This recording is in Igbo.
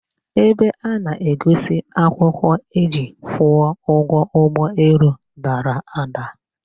Ebe a na-egosi akwụkwọ eji kwụọ ụgwọ ụgbọelu dara ada.